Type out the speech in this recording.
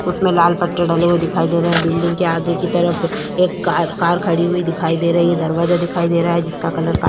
उसमे लाल पत्ते डले हुए दिखाई दे रहे हैं बिल्डिंग के आगे की तरफ एक कार कार खड़ी हुई दिखाई दे रहे है दरवाजा दिखाई दे रहा है जिसका कलर का --